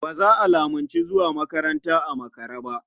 Ba za a lamunci zuwa makaranta a makare ba.